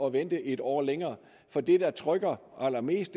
at vente et år længere for det der trykker allermest